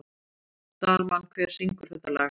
Dalmann, hver syngur þetta lag?